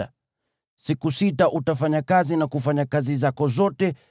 Kwa siku sita utafanya kazi na kutenda shughuli zako zote.